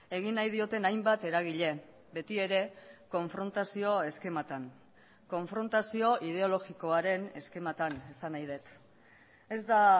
egin nahi dioten hainbat eragile betiere konfrontazio eskematan konfrontazio ideologikoaren eskematan esan nahi dut ez da